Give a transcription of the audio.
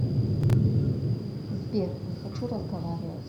сбер не хочу разговаривать